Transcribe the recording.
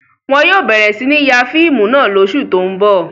Wọn yóò bẹ̀rẹ̀ sí ní ya fíìmù náà lóṣù tó ń bọ̀.